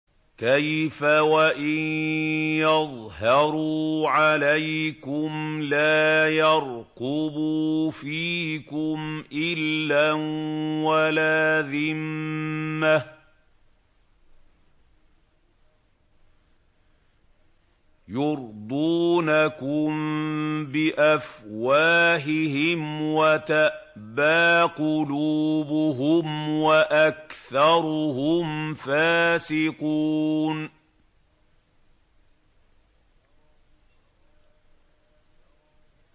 كَيْفَ وَإِن يَظْهَرُوا عَلَيْكُمْ لَا يَرْقُبُوا فِيكُمْ إِلًّا وَلَا ذِمَّةً ۚ يُرْضُونَكُم بِأَفْوَاهِهِمْ وَتَأْبَىٰ قُلُوبُهُمْ وَأَكْثَرُهُمْ فَاسِقُونَ